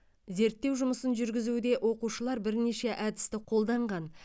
зерттеу жұмысын жүргізуде оқушылар бірнеше әдісті қолданған